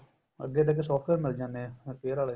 ਅੱਗੇ ਤੇ ਅੱਗੇ software ਮਿਲ ਜਾਂਦੇ ਏ repair ਵਾਲੇ